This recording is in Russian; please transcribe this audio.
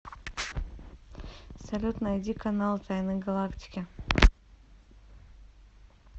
салют найди канал тайны галактики